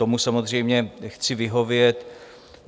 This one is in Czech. Tomu samozřejmě chci vyhovět.